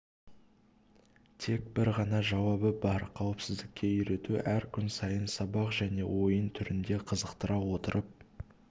тек бір ғана жауабы бар қауіпсіздікке үйрету әр күн сайын сабақ және ойын түрінде қызықтыра отырып